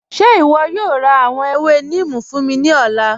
Ṣe ìwọ yóò rá àwọn èwè Nímì fún mi ni ọ̀lá?